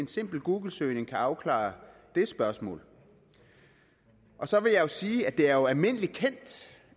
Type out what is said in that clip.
en simpel googlesøgning kan afklare det spørgsmål så vil jeg sige at det er almindelig kendt